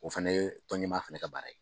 O fɛnɛ ye tɔn ɲɛmaa fɛnɛ ka baara ye.